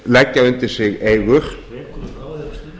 leggja undir sig eigur